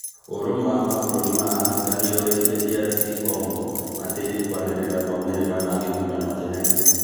Ũrũmwe wa mabũrũri ma Afrika nĩũrĩtie DR Congo matĩrie kwanĩrĩra maumĩrĩra ma gĩthurano kĩnene